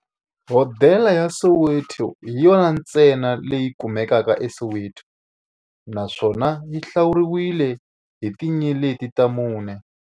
Hodela ya Soweto hi yona ntsena leyi kumekaka eSoweto, naswona yi hlawuriwa hi tinyeleti ta mune.